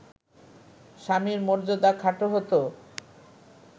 স্বামীর মর্যাদা খাটো হতো